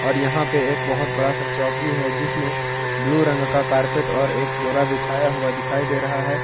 और यहां पे एक बहुत बड़ा सा चौकी है जिसमें ब्लू रंग का कारपेट और एक बोरा बिछाया हुआ दिखाई दे रहा है।